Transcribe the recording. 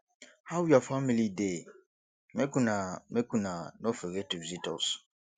how your family dey make una make una no forget to visit us